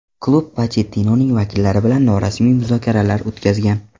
Klub Pochettinoning vakillari bilan norasmiy muzokaralar o‘tkazgan.